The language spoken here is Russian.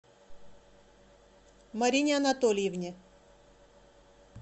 марине анатольевне